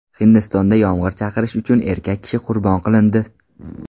Hindistonda yomg‘ir chaqirish uchun erkak kishi qurbon qilindi.